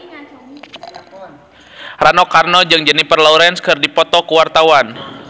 Rano Karno jeung Jennifer Lawrence keur dipoto ku wartawan